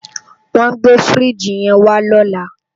Wòn gbé fírìjí yèn wá lòlá